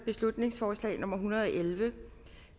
beslutningsforslag nummer hundrede og elleve